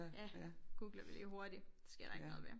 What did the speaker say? Ja googler vi lige hurtigt det sker der ikke noget ved